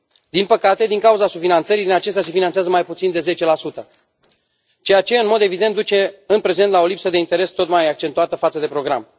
Din păcate, din cauza subfinanțării, din acestea se finanțează mai puțin de 10 ceea ce, în mod evident, duce în prezent la o lipsă de interes tot mai accentuată față de program.